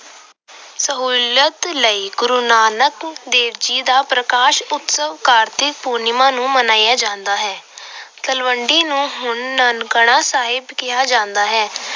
ਸਹੂਲਤ ਲਈ ਗੁਰੂ ਨਾਨਕ ਦੇਵ ਜੀ ਦਾ ਪ੍ਰਕਾਸ਼ ਉਤਸਵ ਕਾਤ੍ਰਿਕ ਪੂਰਨਿਮਾ ਨੂੰ ਮਨਾਇਆ ਜਾਂਦਾ ਹੈ। ਤਲਵੰਡੀ ਨੂੰ ਹੁਣ ਨਨਕਾਣਾ ਸਾਹਿਬ ਕਿਹਾ ਜਾਂਦਾ ਹੈ।